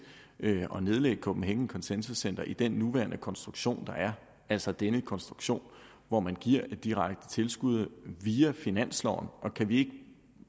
at nedlægge copenhagen consensus center i den nuværende konstruktion altså denne konstruktion hvor man giver et direkte tilskud via finansloven og kan vi